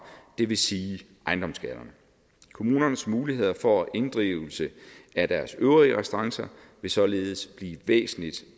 det vil sige ejendomsskatterne kommunernes muligheder for inddrivelse af deres øvrige restancer vil således blive væsentlig